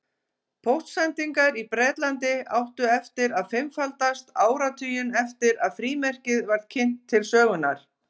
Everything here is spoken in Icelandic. Póstsendingar í Bretlandi áttu eftir að fimmfaldast áratuginn eftir að frímerkið var kynnt til sögunnar.